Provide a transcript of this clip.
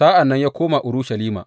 Sa’an nan ya koma Urushalima.